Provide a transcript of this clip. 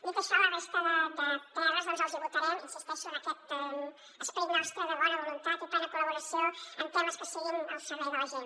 dit això la resta de prs els hi votarem hi insisteixo amb aquest esperit nostre de bona voluntat i plena col·laboració en temes que siguin al servei de la gent